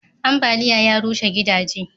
ambaliya ya rushe gidaje